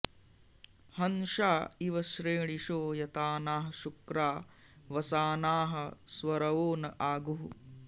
हंसा इव श्रेणिशो यतानाः शुक्रा वसानाः स्वरवो न आगुः